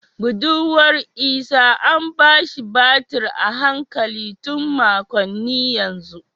Budurwar Isah an ba shi batir a hankali tun makonni yanzu